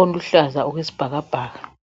oluhlaza okwesibhakabhaka.